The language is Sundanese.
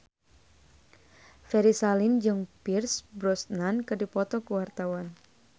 Ferry Salim jeung Pierce Brosnan keur dipoto ku wartawan